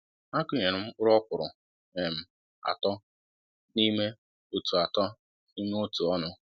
A kụnyere m mkpụrụ ọkwụrụ um atọ n'ime otu atọ n'ime otu ọnụ